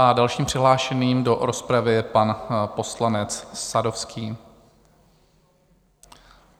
A dalším přihlášeným do rozpravy je pan poslanec Sadovský.